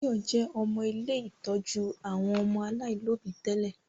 Báyọ̀ jẹ́ ọmọ ilé ìtọ́jú àwọn ọmọ aláìlóbi tẹ́lẹ̀